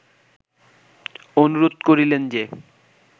অনুরোধ করিলেন যে